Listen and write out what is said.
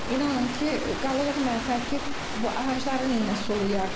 İnanın ki, qalırıq mətəl ki, bu ağacları nə sulayaq?